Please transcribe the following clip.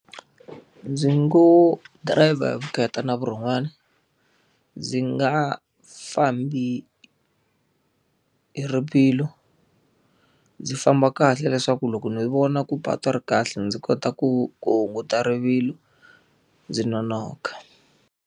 Ndzi ngo dirayivha hi vukheta na vurhon'wana. Ndzi nga fambi hi rivilo. Ndzi famba kahle leswaku loko ni vona ku patu ri kahle ndzi kota ku ku hunguta rivilo ndzi nonoka.